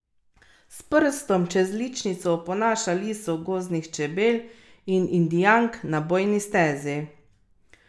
S prstom čez ličnico oponaša liso gozdnih čebel in Indijank na bojni stezi.